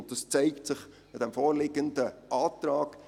Dies zeigt sich am vorliegenden Antrag.